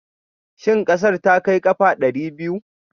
Shin ƙasar ta kai ƙafa ɗari biyu?